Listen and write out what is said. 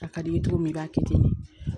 A ka di i ye cogo min i b'a kɛ ten de